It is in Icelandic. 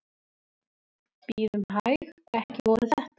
Bíðum hæg. ekki voru þetta?